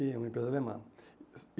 E Uma empresa alemã.